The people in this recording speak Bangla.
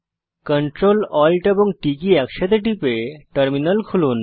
Ctrl Alt এবং T কী একসাথে টিপে টার্মিনাল খুলুন